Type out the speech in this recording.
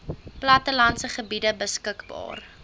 plattelandse gebiede beskikbaar